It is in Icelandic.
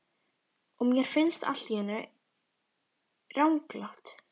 Og mér finnst þetta allt í einu ranglátt.